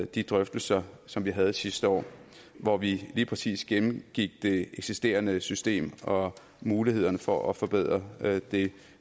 de drøftelser som vi havde sidste år hvor vi lige præcis gennemgik det eksisterende system og mulighederne for at forbedre det